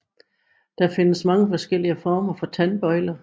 Der findes mange forskellige former for tandbøjler